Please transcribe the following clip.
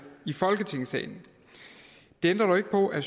i folketingssalen det ændrer dog ikke på at